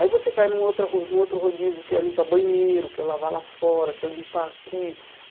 Aí você cai num outra ro num outro rodízio que é limpar banheiro, que é lavar lá fora, que é limpar aqui.